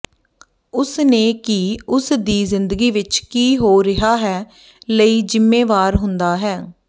ਉਸ ਨੇ ਕੀ ਉਸ ਦੀ ਜ਼ਿੰਦਗੀ ਵਿਚ ਕੀ ਹੋ ਰਿਹਾ ਹੈ ਲਈ ਜ਼ਿੰਮੇਵਾਰ ਹੁੰਦਾ ਹੈ